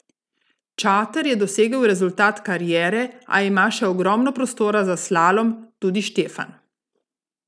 Čater je dosegel rezultat kariere, a ima še ogromno prostora za slalom, tudi Štefan.